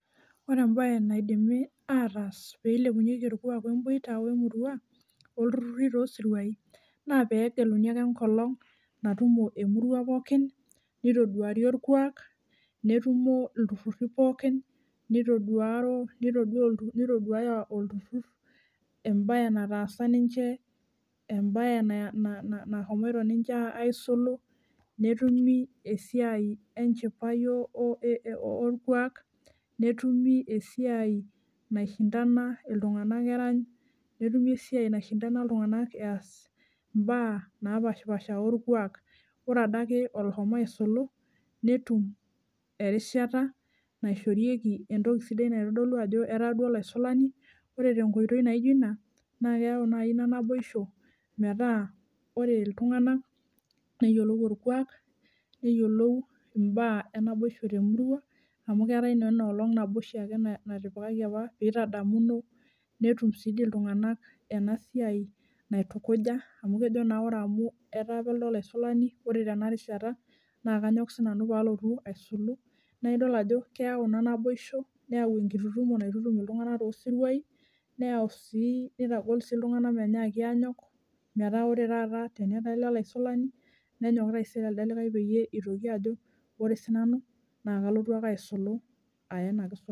ore embaye naidimi aatas peeilepunyieki orkuak oo emboita emurua ooltururuti toosiruai naa pee egeluni ake enkolong` natumo emurua pookin neitoduari orkuak netumo iltururuti pookin neitoduaro neitodaya oltutur embaye nataasa ninche embae nashomoita ninche isulu netumi esiai enchipai oorkuak netumi esiai naishintana iltung`anak erany netumi esiai naishintana iltunganak eas imbaa naapashi paasha orkuak ore ade ake oloshomo aisulu netum erishata naishorieki entoki sidai naitodoolu ajo etaa duo olaisulani oree tenkoitoi naijo ina naa keyau naji ina naboisho metaa ore iltung`anak neyiolou orkuak neyiolou imbaa eenaiboisho teemuruaa amuu keetae inye ina olong` naboisho ake natipikaki apa peetadamuno netum sii dii iltung`anak ena siai naitukuja amu kejo naa ore amu etaa apa elde olaisulani ore tena rishata naa kanyok sinanu paalotu aisulu naa idol ajo keyau kuna naboisho neeyau enkitututumo naitutum oltunganak toosiruai neyau sii neitagol sii iltung`anak menyaaki aanyok meeta ore taata teneeku ele olaisulani nenyok taiser elde likai peyiee eitoki ajo oree sinanu naa kaloyu akeaisulu aya ena kisulata.